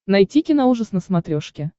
найти киноужас на смотрешке